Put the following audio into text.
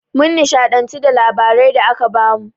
Mun nishaɗantu da labarai da aka bamu.